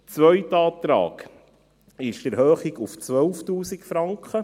Der zweite Antrag ist jener betreffend eine Erhöhung auf 12 000 Franken.